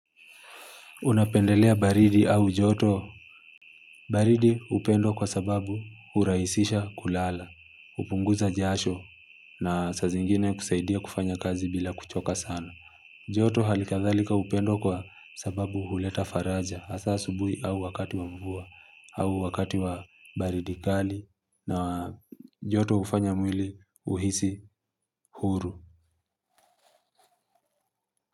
Unapendelea baridi au joto. Baridi hupendwa kwa sababu huraisisha kulala, hupunguza jasho na saa zingine kusaidia kufanya kazi bila kuchoka sana. Joto hali kadhalika hupendwa kwa sababu huleta faraja, asa asubuhi au wakati wa mvua, au wakati wa baridi kali na joto hufanya mwili uhisi huru.